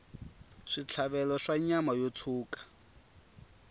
switlhavelo swa nyama yo tshuka